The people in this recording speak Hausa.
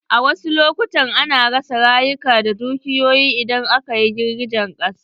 Wasu lokutan ana rasa rayuka da dukiyoyi idan akayi girgijen ƙasa.